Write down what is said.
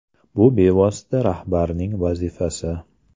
Bu bevosita rahbarning vazifasi.